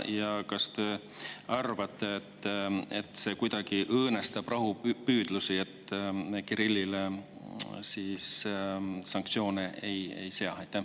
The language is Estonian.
Ja kas te arvate, et see kuidagi õõnestab rahupüüdlusi, kui Kirillile sanktsioone ei seata?